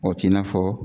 O t'i n'a fɔ